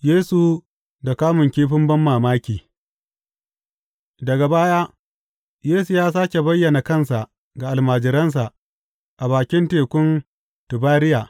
Yesu da kamun kifin banmamaki Daga baya Yesu ya sāke bayyana kansa ga almajiransa, a bakin Tekun Tibariya.